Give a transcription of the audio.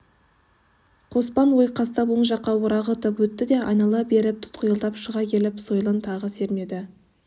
қоспан ойқастап оң жаққа орағытып өтті де айнала беріп тұтқиылдан шыға келіп сойылын тағы сермеді